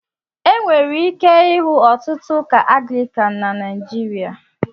Enwere ike ịhụ ọtụtụ Ụka Anglicán na nigeria